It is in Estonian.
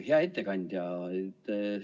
Hea ettekandja!